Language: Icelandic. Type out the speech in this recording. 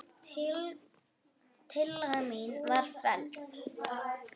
Tillaga mín var felld.